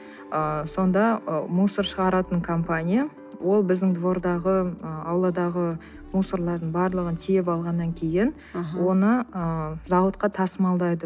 ыыы сонда ы мусор шығаратын компания ол біздің двордағы ы ауладағы мусорлардың барлығын тиеп алғаннан кейін аха оны ы зауытқа тасымалдайды